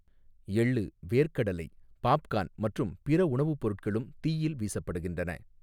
எள்ளு, வேர்க்கடலை, பாப்கார்ன் மற்றும் பிற உணவுப் பொருட்களும் தீயில் வீசப்படுகின்றன.